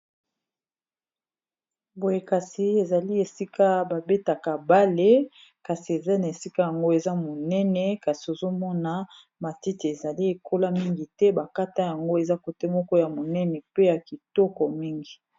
boye kasi ezali esika babetaka bale kasi eza na esika yango eza monene kasi ozomona matite ezali ekola mingi te bakata yango eza kote moko ya monene pe ya kitoko mingi